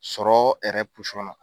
Sɔrɔ Hɛrɛ na.